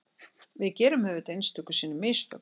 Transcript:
Við gerum auðvitað einstöku sinnum mistök